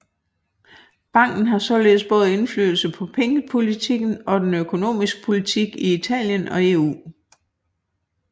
Banken har således både indflydelse på pengepolitikken og den økonomiske politik i Italien og EU